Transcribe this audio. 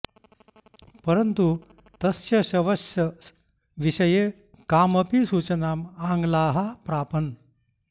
परन्तु तस्य शवस्य विषये न कामपि सूचनाम् आङ्ग्लाः प्रापन्